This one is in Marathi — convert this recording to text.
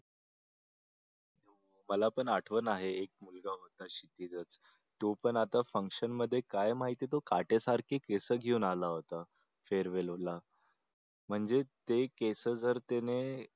मला पण आठवण आहे एक मुलगा होता शिंपीधर तो पण आता function मध्ये काय माहिती तो काटे सारखी तो केस घेऊन आला होता farewell ला म्हणजे ते केस जर त्याने